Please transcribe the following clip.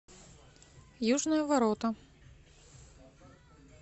южные ворота